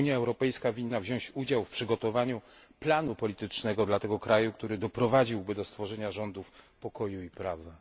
Unia Europejska winna wziąć udział w przygotowaniu planu politycznego dla tego kraju, który doprowadziłby go do stworzenia rządów pokoju i prawa.